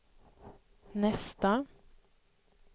nästa